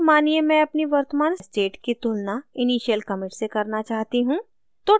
अब मानिये मैं अपनी वर्तमान state की तुलना initial commit से करना चाहती हूँ